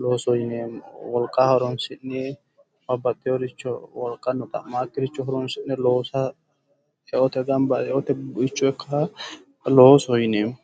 loosoho yinanni. wolqa horonsi'ne babbaxewooricho wolqano xa'makkiricho horonsi'ne loosa eote gamba eote buicho ikkaaha loosoho yineemmo.